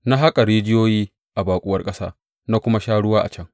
Na haƙa rijiyoyi a baƙuwar ƙasa na kuma sha ruwa a can.